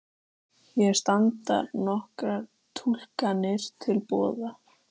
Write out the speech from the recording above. Hér standa nokkrar túlkanir til boða.